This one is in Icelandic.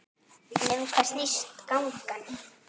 En um hvað snýst gangan?